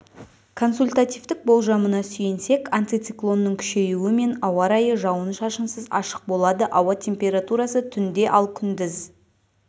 консультативтік болжамына сүйенсек антициклонның күшеюімен ауа райы жауын шашынсыз ашық болады ауа температурасы түнде ал күндіз